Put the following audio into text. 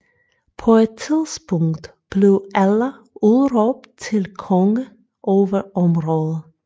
På et tidspunkt blev Ælla udråbt til konge over området